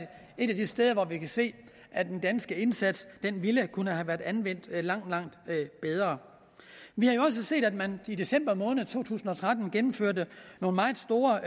et af de steder hvor vi har se at den danske indsats kunne have været anvendt langt langt bedre vi har jo også set at man i december måned to tusind og tretten gennemførte nogle meget store